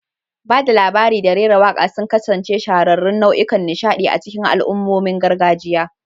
Ba da labari da rera waƙa sun kasance shahararrun nau'ikan nishaɗi a cikin al'ummomin gargajiya.